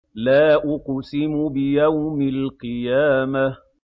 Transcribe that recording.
لَا أُقْسِمُ بِيَوْمِ الْقِيَامَةِ